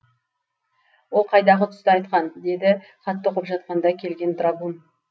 ол қайдағы түсті айтқан деді хатты оқып жатқанда келген драгун